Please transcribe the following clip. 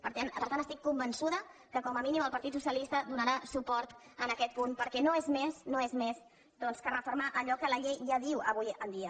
per tant estic convençuda que com a mínim el partit socialista donarà suport en aquest punt perquè no és més no és més que refer·mar allò que la llei ja diu avui en dia